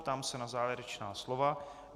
Ptám se na závěrečná slova.